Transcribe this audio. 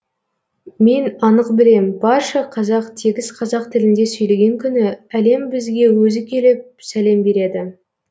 мен анық білем барша қазақ тегіс қазақ тілінде сөйлеген күні әлем бізге өзі келіп сәлем береді